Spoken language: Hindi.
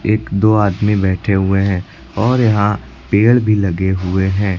एक दो आदमी बैठे हुए है और यहां पेड़ भी लगे हुए है।